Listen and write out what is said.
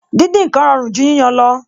Díndín ǹkan rọrùn ju yíyan lọ